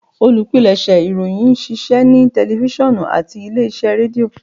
Olupilẹṣẹ ìròyìn n ṣiṣẹ ni tẹlifisiọnu ati ile-iṣẹ Redio